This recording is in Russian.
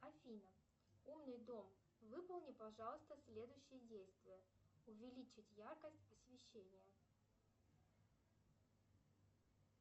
афина умный дом выполни пожалуйста следующие действия увеличить яркость освещения